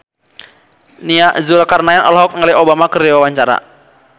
Nia Zulkarnaen olohok ningali Obama keur diwawancara